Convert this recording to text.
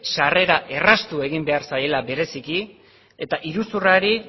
sarrera erraztu behar zaiela bereziki eta iruzurrari